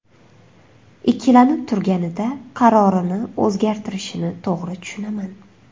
Ikkilanib turganida qarorini o‘zgartirishini to‘g‘ri tushunaman.